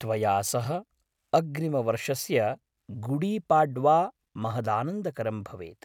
त्वया सह अग्रिमवर्षस्य गुडीपाड्वा महदानन्दकरं भवेत्।